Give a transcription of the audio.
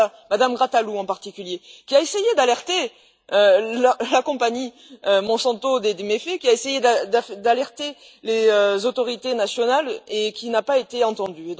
Je pense à Mme Grataloup, en particulier, qui a essayé d'alerter la compagnie Monsanto des méfaits, qui a essayé d'alerter les autorités nationales et qui n'a pas été entendue.